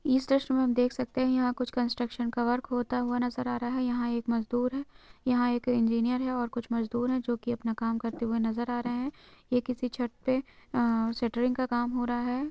इस दृस्य में हम देख सकते हैं यहां कुछ कंस्ट्रक्शन का वर्क होता हुआ नजर आ रहा है यहां एक मजदूर है यहां एक इंजीनियर है और कुछ मजदूर है जो कि अपना काम करते हुए नजर आ रहे हैं यह किसी छत पर शटरिंग का काम हो रहा है।